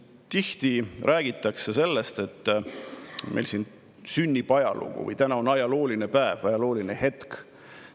Tihti räägitakse sellest, et meil siin sünnib ajalugu või et täna on ajalooline päev, ajalooline hetk.